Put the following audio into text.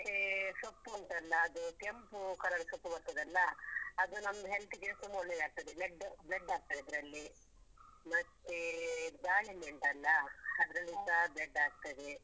ಮತ್ತೆ ಸೊಪ್ಪು ಉಂಟಲ್ಲ ಅದು ಕೆಂಪು colour ಸೊಪ್ಪು ಬರ್ತದಲ್ಲ ಅದು ನಮ್ದು health ಗೆ ತುಂಬ ಒಳ್ಳೆದಾಗ್ತದೆ blood, blood ಆಗ್ತದೆ ಅದ್ರಲ್ಲಿ ಮತ್ತೆ ದಾಳಿಂಬೆ ಉಂಟಲ್ಲ. ಅದ್ರಲ್ಲಿಸ blood ಆಗ್ತದೆ.